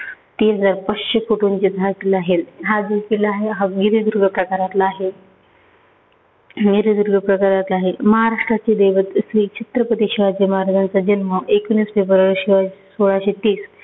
हा जो किल्ला हे तो विहीरीदुर्ग प्रकारातला आहे. विहीरीदुर्ग प्रकारातला आहे. महाराष्ट्राचे दैवत असलेले छत्रपती शिवाजी महराजांचा जन्म एकोणीस फेब्रुवारी सोळा सोळाशे तीस